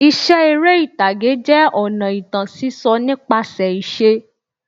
Iṣẹ́ eré ìtàgé jẹ́ ọ̀nà ìtàn sísọ nípasẹ̀ ìṣe.